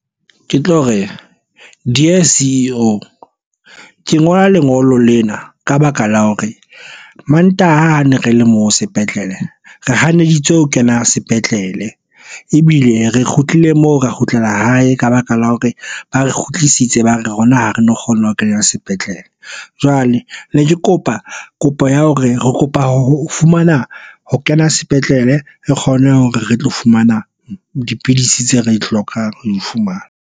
Ke tlo re dear C_E_O ke ngola lengolo lena ka baka la hore mantaha ne re le moo sepetlele re hanetswe ho kena sepetlele ebile re kgutlile moo re kgutlela hae ka baka la hore ba re kgutlisitse ba rona, ha re no kgona ho kena sepetlele. Jwale ne ke kopa kopo ya hore re kopa ho fumana ho kena sepetlele. Re kgone hore re tlo fumana dipidisi tseo re di hlokang ho di fumana